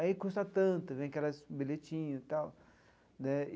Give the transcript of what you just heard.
Aí custa tanto, vem aquelas bilhetinhos e tal né.